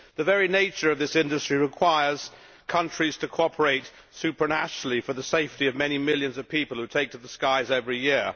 The very nature of this industry requires countries to cooperate supranationally for the safety of many millions of people who take to the skies every year.